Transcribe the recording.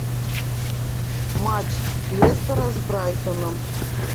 матч лестера с брайтоном